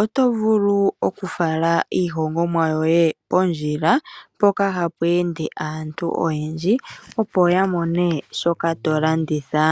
oto vulu okufala iihogomwa yoye pondjila mpoka hapu ende aantu oyendji opo yamone shoka tolanditha.